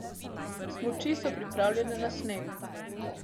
Smuči so pripravljene na sneg!